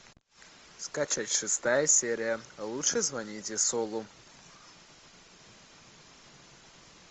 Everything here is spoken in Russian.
скачать шестая серия лучше звоните солу